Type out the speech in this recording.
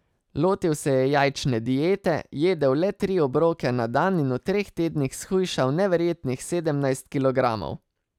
Lotil se je jajčne diete, jedel le tri obroke na dan in v treh tednih shujšal neverjetnih sedemnajst kilogramov.